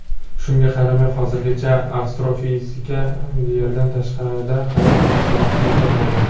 Shunga qaramay, hozirgacha astrofizika Yerdan tashqarida hayot nishonasini topmagan.